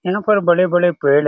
यहाँ पर बड़े-बड़े पेड़ --